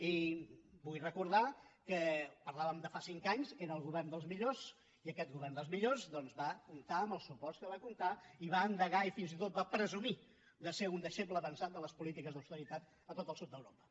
i vull recordar que parlàvem de fa cinc anys era el govern dels millors i aquest govern dels millors doncs va comptar amb els suports que va comptar i va endegar i fins i tot va presumir de ser un deixeble avançat de les polítiques d’austeritat a tot el sud d’europa